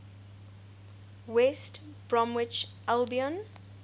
west bromwich albion